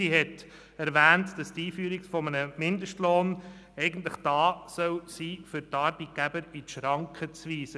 Sie hat erwähnt, dass die Einführung eines Mindestlohns eigentlich da sein soll, um die Arbeitgeber in die Schranken zu weisen.